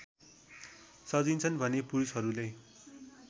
सजिन्छन् भने पुरूषहरूले